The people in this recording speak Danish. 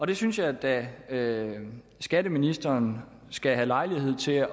det synes jeg da at skatteministeren skal have lejlighed til